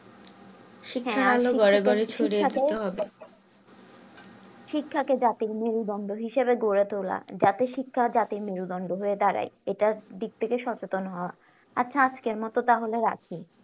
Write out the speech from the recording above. হ্যাঁ শিক্ষাতো জাতির মূল বন্দ হিসাবে গড়ে তোলা যাতে শিক্ষা জাতির মেরুদন্ড হয়ে দাঁড়ায় এটার দিক থেকে সচেতন হওয়া আচ্ছা আজকের মতো তাহলে রাখি